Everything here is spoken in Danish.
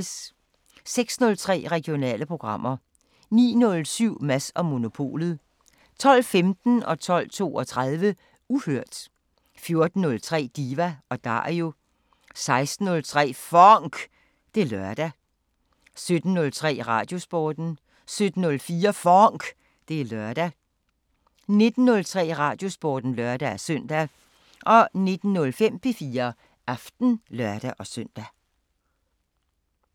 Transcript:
06:03: Regionale programmer 09:07: Mads & Monopolet 12:15: Uhørt 12:32: Uhørt 14:03: Diva & Dario 16:03: FONK! Det er lørdag 17:03: Radiosporten 17:04: FONK! Det er lørdag 19:03: Radiosporten (lør-søn) 19:05: P4 Aften (lør-søn)